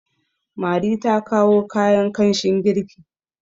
mari ta kawo kayan kanshin girki